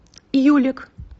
юлик